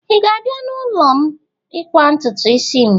Ị ga-abịa n'ụlọ m ịkwa ntutu isi m?